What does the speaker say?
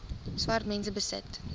swart mense besit